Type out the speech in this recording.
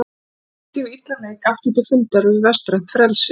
Þannig komst ég við illan leik aftur til fundar við vestrænt frelsi.